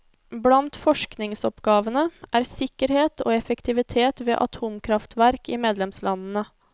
Blant forskningsoppgavene er sikkerhet og effektivitet ved atomkraftverk i medlemslandene.